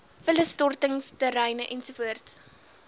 vullisstortings terreine ens